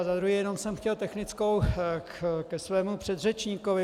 A za druhé, jenom jsem chtěl technickou ke svému předřečníkovi.